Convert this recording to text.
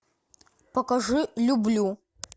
покажи люблю